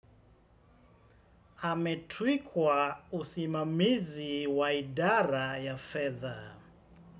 Ametuikwa usimamizi wa idara ya fedha.